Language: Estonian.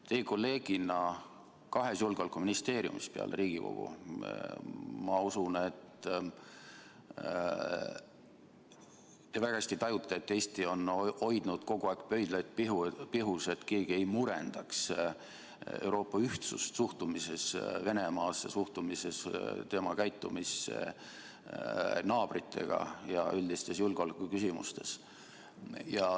Teie kolleegina peale Riigikogu kahes julgeolekuministeeriumis ma usun, et te väga hästi tajute, kuidas Eesti on hoidnud kogu aeg pöidlaid pihus, et keegi ei murendaks Euroopa ühtsust suhtumises Venemaasse, suhtumises tema käitumisse naabritega ja üldistes julgeolekuküsimustes.